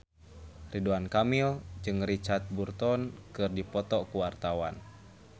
Ridwan Kamil jeung Richard Burton keur dipoto ku wartawan